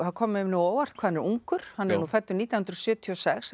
það kom mér á óvart hvað hann er ungur hann er fæddur nítján hundruð sjötíu og sex